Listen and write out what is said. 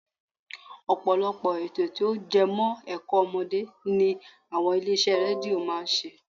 Ọ̀pọ̀lọpọ̀ ètò tí ó jẹmọ́ ẹ̀kọ́ ọmọdé ni àwọn ilé iṣẹ́ rédíó máa ń ṣe